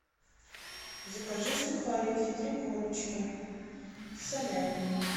закажи сухарики три корочки с салями